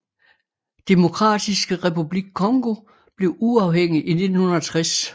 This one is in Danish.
Demokratiske Republik Congo blev uafhængig i 1960